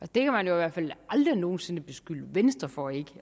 det kan man i hvert fald aldrig nogen sinde beskylde venstre for ikke